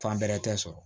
Fan bɛrɛ tɛ sɔrɔ